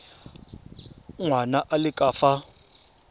ngwana a le ka fa